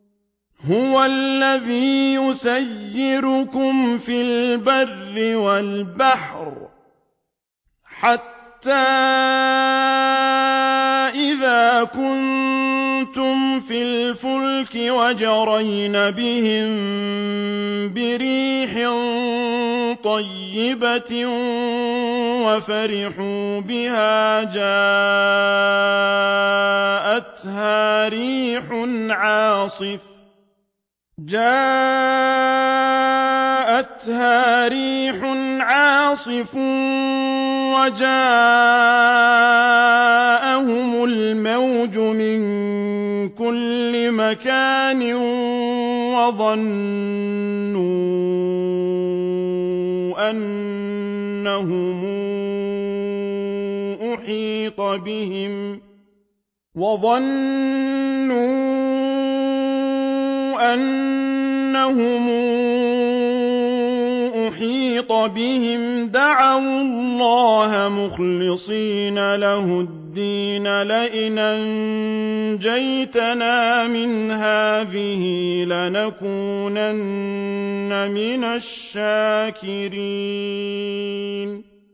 هُوَ الَّذِي يُسَيِّرُكُمْ فِي الْبَرِّ وَالْبَحْرِ ۖ حَتَّىٰ إِذَا كُنتُمْ فِي الْفُلْكِ وَجَرَيْنَ بِهِم بِرِيحٍ طَيِّبَةٍ وَفَرِحُوا بِهَا جَاءَتْهَا رِيحٌ عَاصِفٌ وَجَاءَهُمُ الْمَوْجُ مِن كُلِّ مَكَانٍ وَظَنُّوا أَنَّهُمْ أُحِيطَ بِهِمْ ۙ دَعَوُا اللَّهَ مُخْلِصِينَ لَهُ الدِّينَ لَئِنْ أَنجَيْتَنَا مِنْ هَٰذِهِ لَنَكُونَنَّ مِنَ الشَّاكِرِينَ